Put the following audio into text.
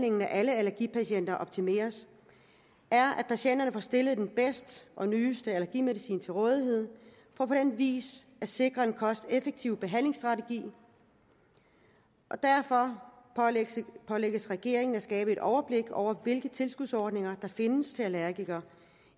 af alle allergipatienter optimeres er at patienterne får stillet den bedste og nyeste allergimedicin til rådighed for på den vis at sikre en kosteffektiv behandlingsstrategi derfor pålægges regeringen at skabe et overblik over hvilke tilskudsordninger der findes til allergikere